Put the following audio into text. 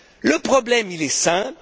Le problème est simple.